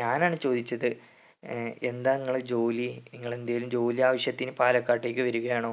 ഞാൻ ആണ് ചോദിച്ചത് ഏർ എന്താണ് നിങ്ങളെ ജോലി നിങ്ങൾ എന്തെങ്കിലും ജോലി ആവശ്യത്തിനി പാലക്കാട്ടേക്ക് വരുകയാണോ